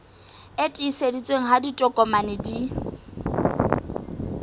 e tiiseditsweng ha ditokomane di